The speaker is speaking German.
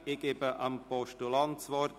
Ich erteile dem Postulanten das Wort.